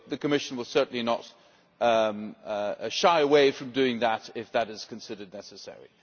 The Commission will certainly not shy away from doing that if it is considered necessary.